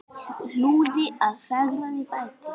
Hlúði að, fegraði og bætti.